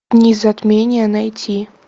дни затмения найти